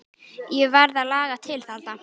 Ég varð að laga til þarna.